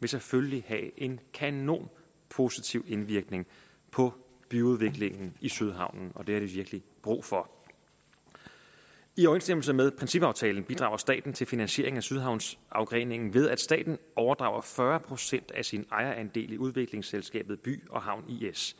vil selvfølgelig have en kanon positiv indvirknig på byudviklingen i sydhavnen og det har de virkelig brug for i overensstemmelse med principaftalen bidrager staten til finansieringen af sydhavnsafgreningen ved at staten overdrager fyrre procent af sin ejerandel i udviklingsselskabet by havn is